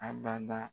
A bada